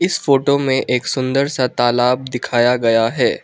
इस फोटो में एक सुंदर सा तालाब दिखाया गया है।